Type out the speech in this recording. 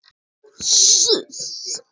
Það hafi því miður gerst.